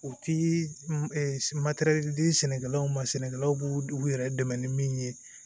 U ti di sɛnɛkɛlaw ma sɛnɛkɛlaw b'u u yɛrɛ dɛmɛ ni min ye